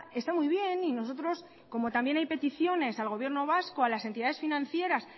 está muy bien y nosotros como también hay peticiones al gobierno vasco a las entidades financieras